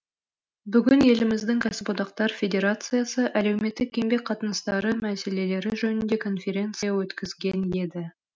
бүгін еліміздің кәсіподақтар федерациясы әлеуметтік еңбек қатынастары мәселелері жөнінде конференция өткізген еді